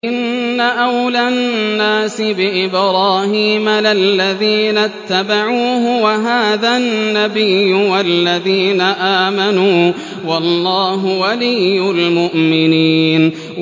إِنَّ أَوْلَى النَّاسِ بِإِبْرَاهِيمَ لَلَّذِينَ اتَّبَعُوهُ وَهَٰذَا النَّبِيُّ وَالَّذِينَ آمَنُوا ۗ وَاللَّهُ وَلِيُّ الْمُؤْمِنِينَ